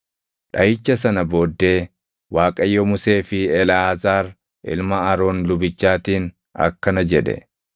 Dhaʼicha sana booddee Waaqayyo Musee fi Eleʼaazaar ilma Aroon lubichaatiin akkana jedhe;